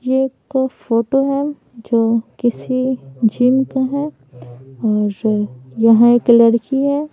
ये एक फोटो है जो किसी जिम का है और यहाँ एक लड़की है।